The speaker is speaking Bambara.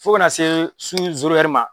Fo ka na se su ma.